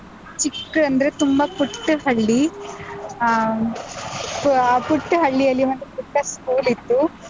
ಚಿಕ್ಕ ಅಂದ್ರೆ ತುಂಬಾ ಪುಟ್ಟ ಹಳ್ಳಿ, ಆಹ್, so ಆ ಪುಟ್ಟ ಹಳ್ಳಿಯಲ್ಲಿ ಒಂದು ಪುಟ್ಟ school ಇತ್ತು.